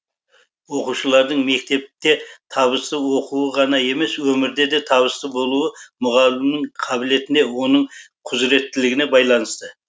оқушылардың мектепте табысты оқуы ғана емес өмірде де табысты болуы мұғалімнің қабілетіне оның құзыреттілігіне байланысты